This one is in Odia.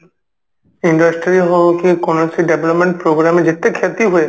industry ହଉ କି କୌଣସି development program ଯେତେ କ୍ଷତି ହୁଏ